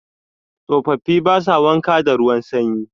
Tsofafi ba sa wanka da ruwan sanyi.